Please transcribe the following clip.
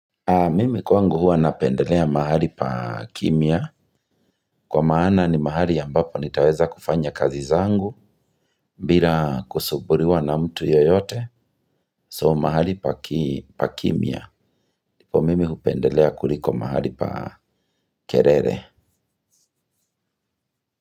Mimi kwangu huwa napendelea mahali pa kimya. Kwa maana ni mahali ambapo nitaweza kufanya kazi zangu bila kusumbuliwa na mtu yeyote. So mahali pa kimya. Ndipo mimi hupendelea kuliko mahali pa kelele.